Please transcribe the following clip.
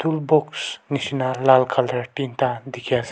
toolbox nishe na lal colour tinta dikhi ase.